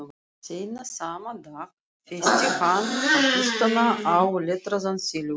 Seinna sama dag festi hann á kistuna áletraðan silfurskjöld.